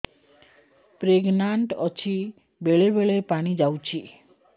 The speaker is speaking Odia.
ପ୍ରେଗନାଂଟ ଅଛି ବେଳେ ବେଳେ ପାଣି ଯାଉଛି